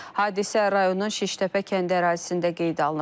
Hadisə rayonun Şiştəpə kəndi ərazisində qeydə alınıb.